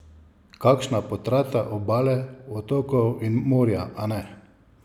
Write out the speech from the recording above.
Kakšna potrata obale, otokov in morja, a ne?